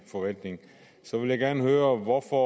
forvaltning så vil jeg gerne høre hvorfor